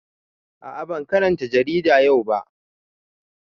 A a ban karanta jaridar yau ba.